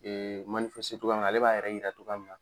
togoya min na, ale b'a yɛrɛ yira togoya min na